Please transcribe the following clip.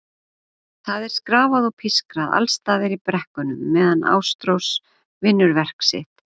Það er skrafað og pískrað alls staðar í bekknum meðan Ástrós vinnur verk sitt.